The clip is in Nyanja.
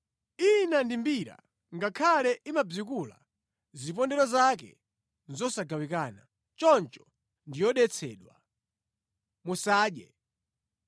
Ina ndi mbira, ngakhale imabzikula, zipondero zake nʼzosagawikana. Choncho ndi yodetsedwa, musadye.